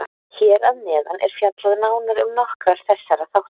Hér að neðan er fjallað nánar um nokkra þessara þátta.